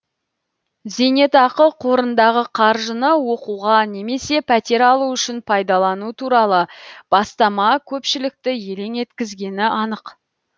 зейнетақы қорындағы қаржыны оқуға немесе пәтер алу үшін пайдалану туралы бастама көпшілікті елең еткізгені анық